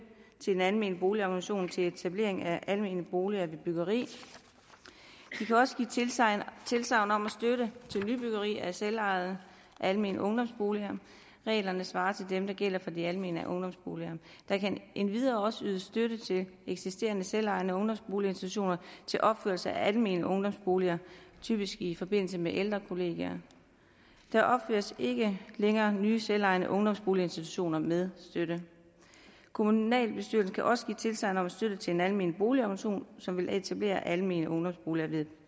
til en almen boligorganisation til etablering af almene boliger ved byggeri de kan også give tilsagn tilsagn om støtte til nybyggeri af selvejende almene ungdomsboliger reglerne svarer til dem der gælder for de almene ungdomsboliger der kan endvidere også ydes støtte til eksisterende selvejende ungdomsboliginstitutioner til opførelse af almene ungdomsboliger typisk i forbindelse med ældre kollegier der opføres ikke længere nye selvejende ungdomsboliginstitutioner med støtte kommunalbestyrelsen kan også give tilsagn om støtte til en almen boligorganisation som vil etablere almene ungdomsboliger ved